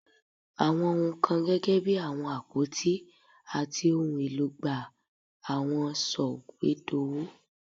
Awọn ohun kan gẹgẹbi awọn apoti ati ohun elo gba awọn sọwedowo